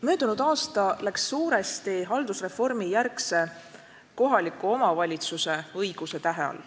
Möödunud aasta läks suuresti haldusreformijärgse kohaliku omavalitsuse õiguse tähe all.